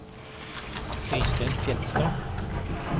Øystein Fjellstad